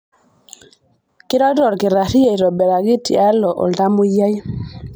Keirorita olkitari aitobiraki tialo oltamwoyiai.